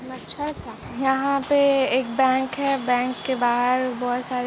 यहां पे एक बैंक है बैंक के बाहर बहोत सारे--